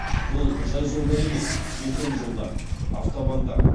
бұл жай жолдар емес бетон жолдар автобандар